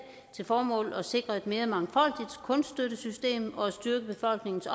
til formål at sikre et mere mangfoldigt kunststøttesystem og at styrke befolkningens